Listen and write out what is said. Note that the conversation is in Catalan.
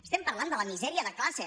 estem parlant de la misèria de classe